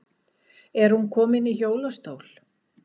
Er hún komin í hjólastól?